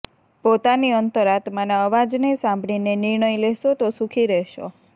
પોતાની અંતરાત્માના અવાજને સાંભળીને નિર્ણય લેશો તો સુખી રહેશો